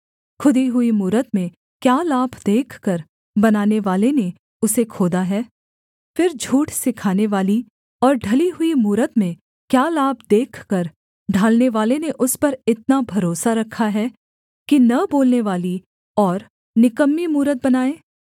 खुदी हुई मूरत में क्या लाभ देखकर बनानेवाले ने उसे खोदा है फिर झूठ सिखानेवाली और ढली हुई मूरत में क्या लाभ देखकर ढालनेवाले ने उस पर इतना भरोसा रखा है कि न बोलनेवाली और निकम्मी मूरत बनाए